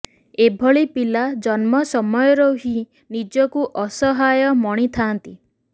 ଏଭଳି ପିଲା ଜନ୍ମ ସମୟରୁ ହିଁ ନିଜକୁ ଅସହାୟ ମଣିଥାନ୍ତି